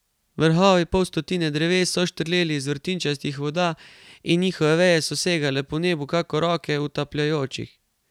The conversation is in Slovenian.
Vrhovi pol stotine dreves so štrleli iz vrtinčastih voda in njihove veje so segale po nebu kakor roke utapljajočih.